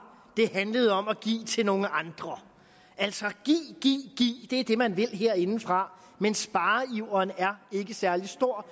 det handlede om at give til nogle andre altså give give give er det man vil herindefra men spareiveren er ikke særlig stor